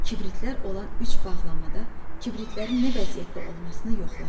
Kibritlər olan üç bağlamada kibritlərin nə vəziyyətdə olmasını yoxladı.